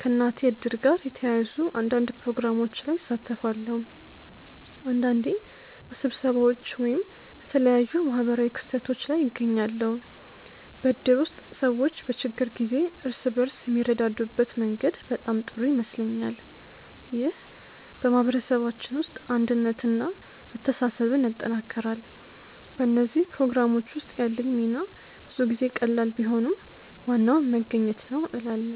ከእናቴ እድር ጋር የተያያዙ አንዳንድ ፕሮግራሞች ላይ እሳተፋለሁ። አንዳንዴ በስብሰባዎች ወይም በተለያዩ ማህበራዊ ክስተቶች ላይ እገኛለሁ። በእድር ውስጥ ሰዎች በችግር ጊዜ እርስ በርስ የሚረዳዱበት መንገድ በጣም ጥሩ ይመስለኛል። ይህ በማህበረሰባችን ውስጥ አንድነትን እና መተሳሰብን ያጠናክራል። በእነዚህ ፕሮግራሞች ውስጥ ያለኝ ሚና ብዙ ጊዜ ቀላል ቢሆንም ዋናው መገኘት ነው እላለ